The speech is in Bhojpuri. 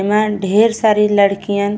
एमा ढेर सारी लड़कियन --